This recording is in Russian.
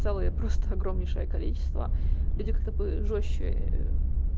целое просто огромнейшее количество люди как то бы жёстче